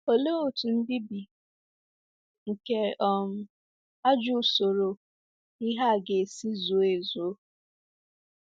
Olee otú mbibi nke um ajọ usoro ihe a ga-esi zuo ezuo?